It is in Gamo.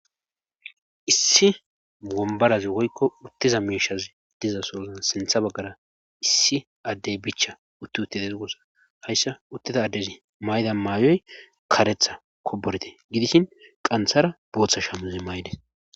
issi ombarazi woykko uttiza miishazi diza soozan sintha baggara issi addey bicha utti uttidez ugossa hayssa utteda addezi mayda maayoy karetha koborte gidishin qanthara booththa shamuzi may7des